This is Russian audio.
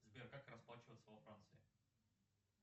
сбер как расплачиваться во франции